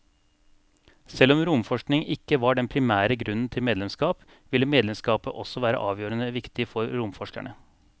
Selv om romforskning ikke var den primære grunnen til medlemskap, ville medlemskapet også være avgjørende viktig for romforskerne.